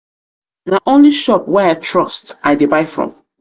na only shop wey i trust i i trust i dey buy from.